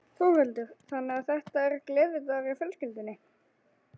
Þórhildur: Þannig að þetta er gleðidagur hjá fjölskyldunni?